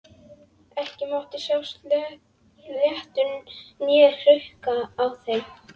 Ekki mátti sjást blettur né hrukka á þeim.